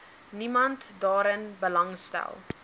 niemand daarin belangstel